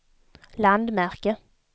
landmärke